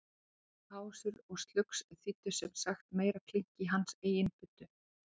Bruðl, pásur og slugs þýddu sem sagt meira klink í hans eigin buddu.